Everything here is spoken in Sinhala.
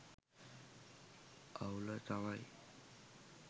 අවුල තමයි